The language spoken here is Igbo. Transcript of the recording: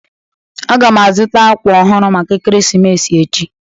Aga m azụta akwa ọhụrụ maka Ekeresimesi echi